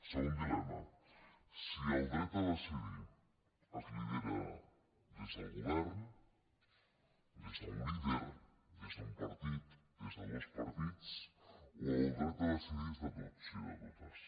segon dilema si el dret a decidir es lidera des del govern des d’un líder des d’un partit des de dos partits o el dret a decidir és de tots i de totes